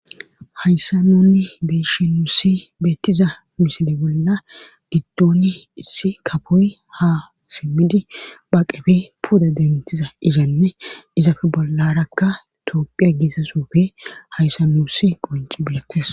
hayssa nonni beeshi nuussi beettiza miside bolla giddoni issi kapoy ha simmidi bhaaqefe puda dentiza izanne izafe bollarakka toophiya giesa sofe hayssa nuussi qonci biletes